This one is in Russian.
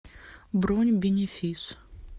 бронь бенефис